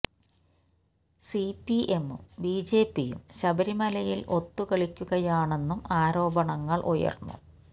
C പി എമ്മും ബി ജെ പിയും ശബരിമലയിൽ ഒത്തു കളിക്കുകയാണെന്നും ആരോപണങ്ങൾ ഉയർന്നു